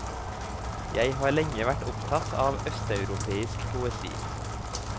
Jeg har lenge vært opptatt av østeuropeisk poesi.